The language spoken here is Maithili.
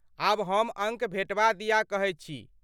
आब हम अङ्क भेटबा दिया कहैत छी।